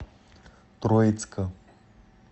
троицка